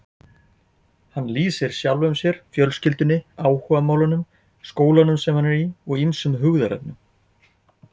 Hann lýsir sjálfum sér, fjölskyldunni, áhugamálunum, skólanum sem hann er í og ýmsum hugðarefnum.